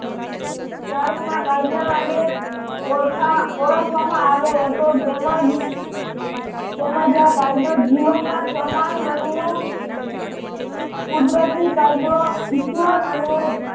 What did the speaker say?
તર્કમાં કાયદા અને ઓળખા ઓળખવામાં આવે તો તેમજ તેમજ આ કાયદો જીવનમાં સમાન મનવું કુદરતી કાયદો ઈશ્વર અને